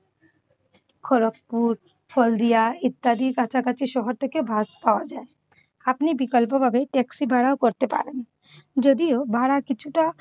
খয়রতপুল, হলদিয়া ইত্যাদি কাছাকাছি শহর থেকে বাস পাওয়া যায়। আপনি বিকল্পভাবে ট্যাক্সি ভাড়াও করতে পারেন। যদিও ভাড়া কিছুটা